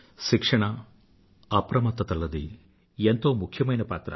శిక్షణ అప్రమత్తత లది ఎంతో ముఖ్యమైన పాత్ర